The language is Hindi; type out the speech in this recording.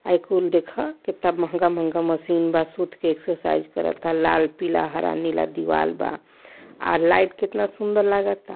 ये कुल देखा कित्ता महंगा महंगा मशीन बा। सूत एक्सरसाइज करता लाल पीला हरा नीला दीवाल बा। आ लाइट कितना सुन्दर लागता।